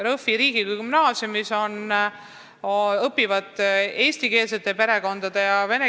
Jõhvi riigigümnaasiumis õpivad eesti ja vene perekondade lapsed.